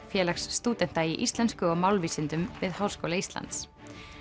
félags stúdenta í íslensku og málvísindum við Háskóla Íslands